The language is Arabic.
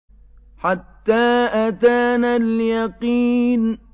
حَتَّىٰ أَتَانَا الْيَقِينُ